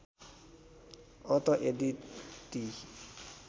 अत यदि ती